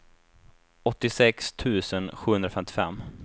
åttiosex tusen sjuhundrafemtiofem